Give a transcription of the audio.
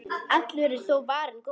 Allur er þó varinn góður.